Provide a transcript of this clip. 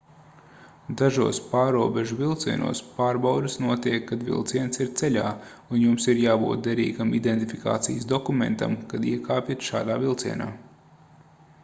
dažos pārrobežu vilcienos pārbaudes notiek kad vilciens ir ceļā un jums ir jābūt derīgam identifikācijas dokumentam kad iekāpjat šādā vilcienā